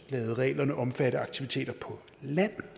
ladet reglerne omfatte af aktiviteter på land